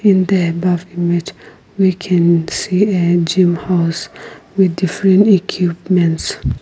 in the above image we can see a gym house with different equipments.